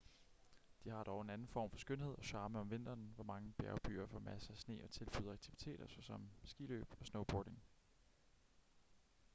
de har dog en anden form for skønhed og charme om vinteren hvor mange bjergbyer får masser af sne og tilbyder aktiviteter såsom skiløb og snowboarding